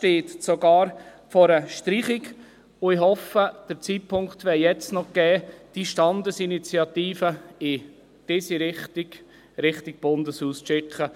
Er schreibt sogar von einer Streichung, und ich hoffe, der Zeitpunkt wäre jetzt noch gegeben, diese Standesinitiative in dieser Art Richtung Bundeshaus zu schicken.